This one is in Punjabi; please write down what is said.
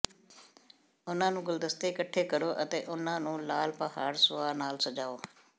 ਉਨ੍ਹਾਂ ਨੂੰ ਗੁਲਦਸਤੇ ਇਕੱਠੇ ਕਰੋ ਅਤੇ ਉਨ੍ਹਾਂ ਨੂੰ ਲਾਲ ਪਹਾੜ ਸੁਆਹ ਨਾਲ ਸਜਾਓ